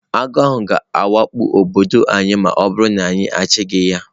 Agụ ahụ ga-awakpo obodo anyị ma ọ bụrụ na anyị achụghị ya.